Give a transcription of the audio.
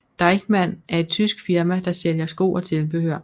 Deichmann er et tysk firma der sælger sko og tilbehør